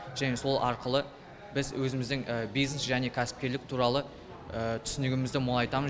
және сол арқылы біз өзіміздің бизнес және кәсіпкерлік туралы түсінігімізді молайтамыз